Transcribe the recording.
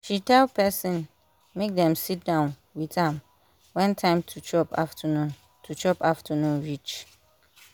she tell person make dem sit down with am wen time to chop afternoon to chop afternoon reach